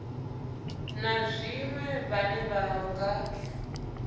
na zwiṅwe vhane vha nga